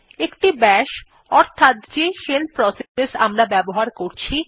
একটি বাশ অর্থাৎ যে শেল প্রসেস আমরা ব্যবহার করছি